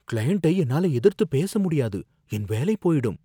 கிளையண்ட்டை என்னால எதிர்த்து பேச முடியாது, என் வேலை போயிடும்